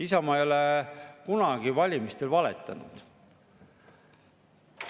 Isamaa ei ole kunagi valimistel valetanud.